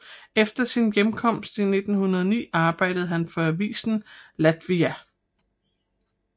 Efter sin hjemkomst i 1904 arbejdede han for avisen Latvija